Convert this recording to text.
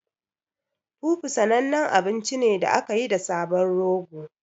Fufu sanannen abinci ne da aka yi da sabon rogo.